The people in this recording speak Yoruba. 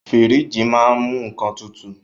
Fíríjì máa ń mú nnkan tutù.